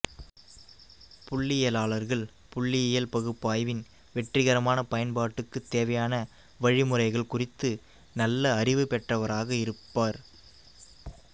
புள்ளியியலாளர்கள் புள்ளியியல் பகுப்பாய்வின் வெற்றிகரமான பயன்பாட்டுக்குத் தேவையான வழி முறைகள் குறித்து நல்ல அறிவு பெற்றவராக இருப்பார்